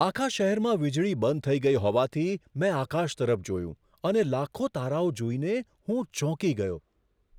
આખા શહેરમાં વીજળી બંધ થઈ ગઈ હોવાથી, મેં આકાશ તરફ જોયું અને લાખો તારાઓ જોઈને હું ચોંકી ગયો.